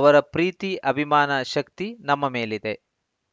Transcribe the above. ಅವರ ಪ್ರೀತಿ ಅಭಿಮಾನ ಶಕ್ತಿ ನಮ್ಮ ಮೇಲಿದೆ